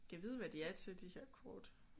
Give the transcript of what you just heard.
Gad vide hvad de er til de her kort